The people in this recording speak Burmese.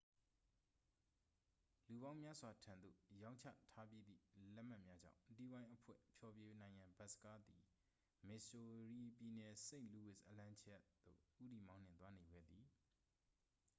လူပေါင်းများစွာထံသု့ိ ရောင်းချထားပြီးသည့် လက်မှတ်များကြောင့် တီးဝိုင်းအဖွဲ့ ဖျော်ဖြေနိုင်ရန် ဘတ်စကားသည် မစ်ဆိုရီပြည်နယ် စိန့်လူးဝစ် အလံ ခြေက် သို့ ဦးတည်မောင်းနှင်သွားနေခဲ့သည်